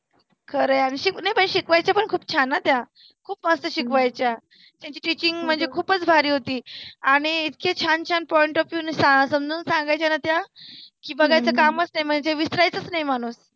खरं आहे यार. शिक शिकवायच्या पण छान हंं त्या. खुप मस्त शिकवायच्या. त्याची teaching म्हणजे खुपच भारी होती. आणि इतके छान छान point of view शा समजुन सांगायच्या ना त्या की बघायच कामच नाही. म्हणजे विसरायचच नाही माणूस.